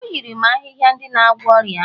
o nyere m ahịhịa ndị na-agwọ ọrịa ahụ